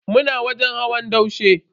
Muna wajen hawan daushe.